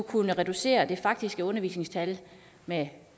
kunne reducere det faktiske undervisningstimetal med